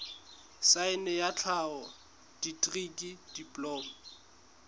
saense ya tlhaho dikri diploma